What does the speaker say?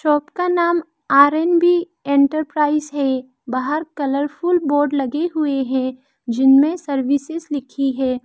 Shop का नाम R and B enterprise है बाहर कलर फुल बोर्ड लगी हुए है जिनमें सर्विसेज लिखी है।